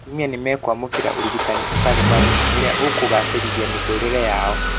Atumia nĩmwekwamũkĩra ũrigitani ũtarĩ marĩhi ũrĩa ũkũgacĩrithia mĩtũrĩre yao